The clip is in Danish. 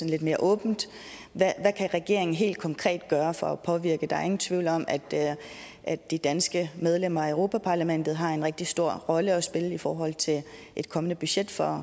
lidt mere åbent hvad kan regeringen helt konkret gøre for at påvirke eu der er ingen tvivl om at at de danske medlemmer af europa parlamentet har en rigtig stor rolle at spille i forhold til et kommende budget for